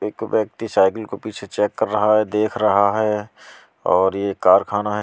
एक व्यक्ति साइकिल को पीछे चेक कर रहा है देख रहा है और ये कारखाना --